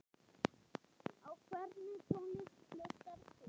Á hvernig tónlist hlustar þú?